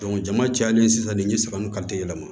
jama cayalen sisan nin ye san naani ka se yɛlɛma